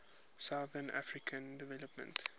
southern african development